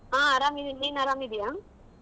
ಆಹ್ ಅರಾಮ್ ಇದಿನ್ ನೀನ್ ಅರಾಮ ಇದೀಯಾ?